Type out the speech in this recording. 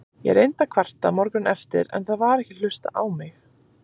Ég reyndi að kvarta morguninn eftir, en það var ekki hlustað á mig.